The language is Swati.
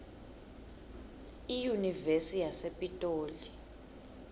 iyunivesi yasepitoli